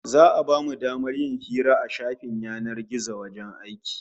Za'a bamu damar yin hira a shafin yanar gizon wajen aiki